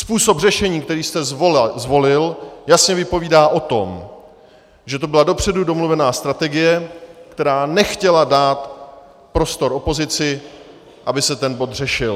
Způsob řešení, který jste zvolil, jasně vypovídá o tom, že to byla dopředu domluvená strategie, která nechtěla dát prostor opozici, aby se ten bod řešil.